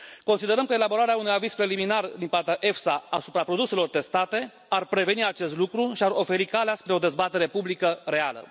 Considerăm că elaborarea unui aviz preliminar din partea EFSA asupra produselor testate ar preveni acest lucru și ar oferi calea spre o dezbatere publică reală.